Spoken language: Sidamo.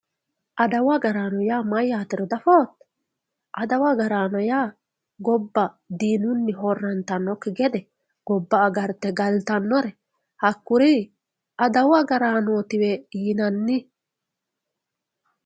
Adawu agarraano mayyatero diafoo ,adawu agarraano gobba diinuni horantanokki gede gobba agarte galtanore hakkuri adawu agarraanotiwe yinanni.